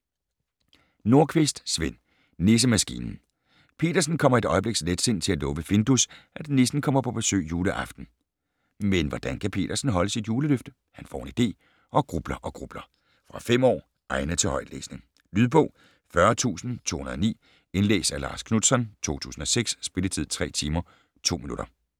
Nordqvist, Sven: Nissemaskinen Peddersen kommer i et øjebliks letsind til at love Findus, at nissen kommer på besøg juleaften. Men hvordan kan Peddersen holde sit juleløfte? Han får en idé - og grubler og grubler. Fra 5 år. Egnet til højtlæsning. Lydbog 40209 Indlæst af Lars Knutzon, 2006. Spilletid: 3 timer, 2 minutter.